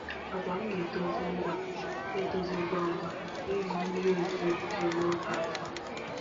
Agwa m na-etozi ngwa na-etozi ngwa ngwa n’ihi mmiri ozuzo bidoro n'oge n’afọ a.